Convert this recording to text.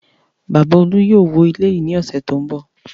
Bàbá Olú yóò wó ilé yìí ní ọ̀sẹ̀ tó ń bọ̀.